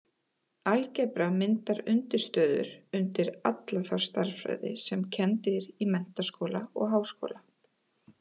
Algebra myndar undirstöður undir alla þá stærðfræði sem kennd er í menntaskóla og háskóla.